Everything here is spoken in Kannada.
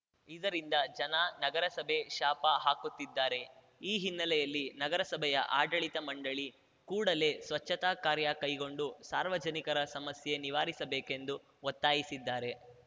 ಇದರಿಂದ ಜನ ನಗರಸಭೆ ಶಾಪ ಹಾಕುತ್ತಿದ್ದಾರೆ ಈ ಹಿನ್ನೆಲೆಯಲ್ಲಿ ನಗರಸಭೆಯ ಆಡಳಿತ ಮಂಡಳಿ ಕೂಡಲೇ ಸ್ವಚ್ಛತಾ ಕಾರ್ಯ ಕೈಗೊಂಡು ಸಾರ್ವಜನಿಕರ ಸಮಸ್ಯೆ ನಿವಾರಿಸಬೇಕೆಂದು ಒತ್ತಾಯಿಸಿದ್ಧಾರೆ